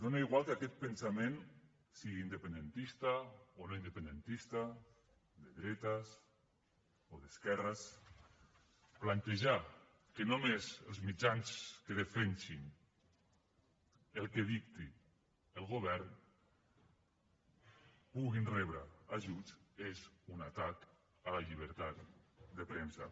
és igual que aquest pensament sigui independentista o no independentista de dretes o d’esquerres plantejar que només els mitjans que defensin el que dicti el govern puguin rebre ajuts és un atac a la llibertat de premsa